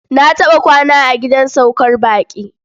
Na taɓa kwana a gidan saukar baƙi.